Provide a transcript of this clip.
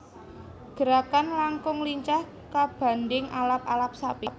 Gerakan langkung lincah kabandhing Alap alap sapi